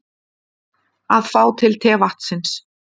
Að fá til tevatnsins